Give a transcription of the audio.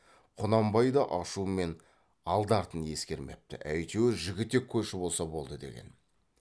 құнанбай да ашумен алды артын ескермепті әйтеуір жігітек көші болса болды деген